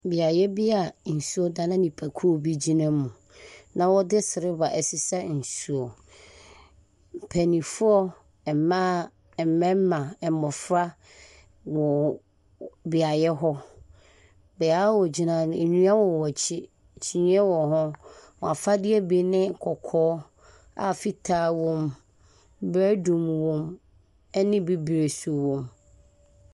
Beae bi a nsuo da na nnipakuo bi ɛnam mu. Na wɔde siliva ɛsesa nsu. Mpanimfoɔ mmaa, mmɛrima, mmofra wɔ beae hɔ. Beae a wogyina no, nnua wɔ wɔn akyi. Kyeneɛ wɔhɔ. Wɔn afadeɛ ne bi ne kɔkɔɔ a fitaa wom, biredum wom ɛne bibire so wom.